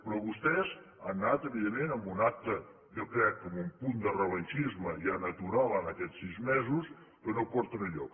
però vostès han anat evidentment a un acte jo crec que amb un punt de revengisme ja natural en aquests sis mesos que no porta enlloc